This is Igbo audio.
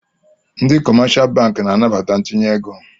Ndị kọmáshá bankị na-anabata itinye égo